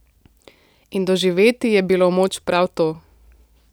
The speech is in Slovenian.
In doživeti je bilo moč prav to.